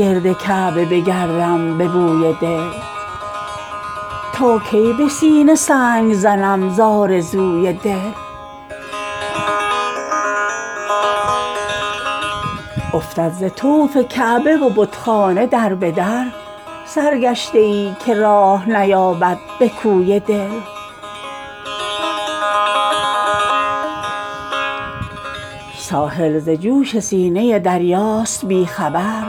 گرد کعبه بگردم به بوی دل تا کی به سینه زنم ز آرزوی دل افتد ز طرف کعبه و بتخانه دربدر سر گشته ای که راه نیابد به کوی دل یوسف یکی و نکهت پیراهنش یکی است از هیچ غنچه ای نتوان یافت بوی دل ساحل ز جوش سینه دریاست بی خبر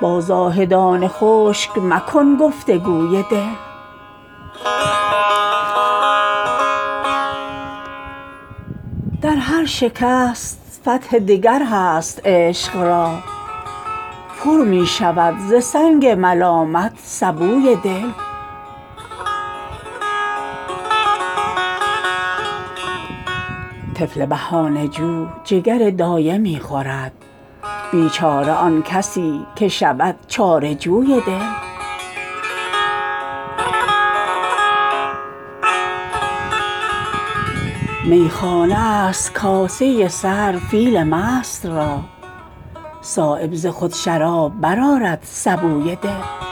با زاهدان خشک مکن گفتگوی دل فانوس نیست پرده بیداری چراغ باطل ز خواب چشم نگردد وضوی دل دشنام تلخ در قدحش باده می شود در بیخودی بهانه تراش است خوی دل شاید درین غبار بود آن در یتیم فارغ مباش یک نفس از رفت وروی دل بیهوشی من است گرانخواب ورنه من دریا به جای آب فشاندم به روی دل دیوار و در حجاب نگردد فرشته را هرگز نبسته است کسی در به روی دل گر عاشقی ز گرد علایق غمین مباش کان لعل آبدار دهد شستشوی دل هر ذره ای که هست دل از دست داده است بیچاره عاشق از که کند جستجوی دل در هر شکست فتح دگر هست عشق را پرمی شود ز سنگ ملامت سبوی دل تا سینه تو پاک نگردد ز آرزو هرگز خبر نیابی ازان آرزوی دل طفل بهانه جو جگر دایه می خورد بیچاره ان کسی که شود چاره جوی دل میخانه است کاسه سر فیل مست را صایب ز خود شراب برآرد سبوی دل